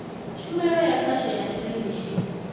tshumelo ya khasho ya theḽevishini